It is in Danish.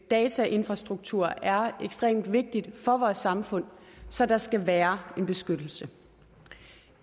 datainfrastruktur er ekstremt vigtig for vores samfund så der skal være en beskyttelse